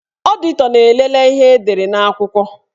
Ọditọ na-elele ihe edere n'akwụkwọ.